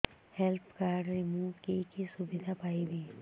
health card ରେ ମୁଁ କି କି ସୁବିଧା ପାଇବି